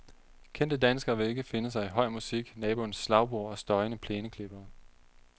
Kendte danskere vil ikke finde sig i høj musik, naboens slagbor og støjende plæneklippere.